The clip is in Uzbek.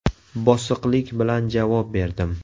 Bosiqlik bilan javob berdim.